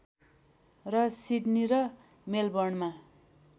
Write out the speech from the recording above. र सिडनी र मेलबर्नमा